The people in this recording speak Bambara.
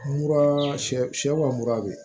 Mura sɛ sɛ sɛ sɛ wa mura bɛ